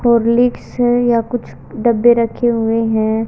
Horlicks है या कुछ डब्बे रखे हुए हैं।